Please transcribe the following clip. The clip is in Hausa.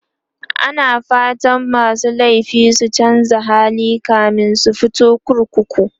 ana fatan masu laifi su chanza hali kamin su fito kurkuku